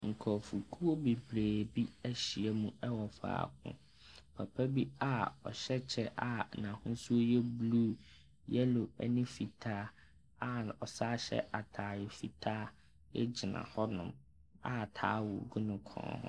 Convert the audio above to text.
Nkurɔfokuo bebree bi ahyia mu wɔ faako. Papa bi a ɔhyɛ kyɛ a n'ahosuo yɛ blue, yellow nw fitaa a ɔsane yɛ atadeɛ fitaa gyina hɔnom, a towel gu ne kɔn ho.